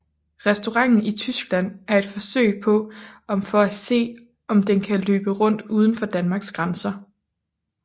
Restauranten i Tyskland er et forsøg på om for at se om den kan løbe rundt uden for Danmarks grænser